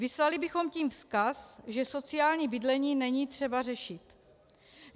Vyslali bychom tím vzkaz, že sociální bydlení není třeba řešit.